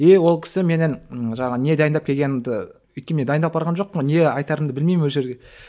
е ол кісі менен і жаңағы не дайындап келгенімді өйткені дайындалып барған жоқпын ғой не айтарымды білмеймін ол жерде